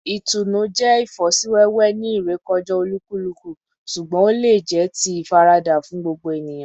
Itunu jẹ ifosiwewe ni irekọja olukuluku, ṣugbọn o le jẹ ti ifarada fun gbogbo eniyan